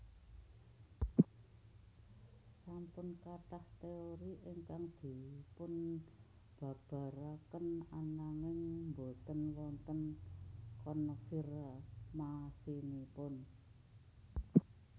Sampun kathah teori ingkang dipun babaraken ananging boten wonten konfirmasinipun